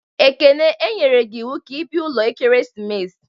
Ekene, e nyere gi iwu ka i bia ulo ekeresimesi!